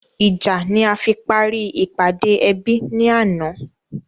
Ìjà ni a fi parí ìpàdé ẹbí ni àná